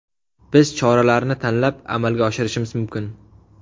Biz choralarni tanlab amalga oshirishimiz mumkin.